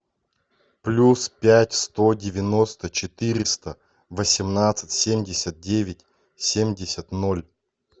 плюс пять сто девяносто четыреста восемнадцать семьдесят девять семьдесят ноль